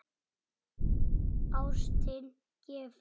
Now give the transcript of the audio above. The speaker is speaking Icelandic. Ástin gefur.